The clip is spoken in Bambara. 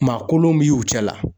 Maa kolon b'ɛ ye u cɛ la.